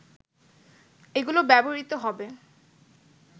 এগুলো ব্যবহৃত হবে